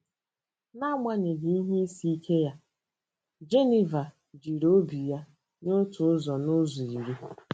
N'agbanyeghị ihe isi ike ya, Geniva jiri obi ya nye otu ụzọ n'ụzọ iri.